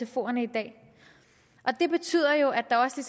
sfoerne i dag og det betyder jo at der også